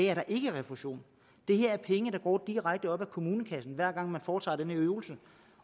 er der ikke refusion det her er penge der går direkte ud af kommunekassen hver gang man foretager den her øvelse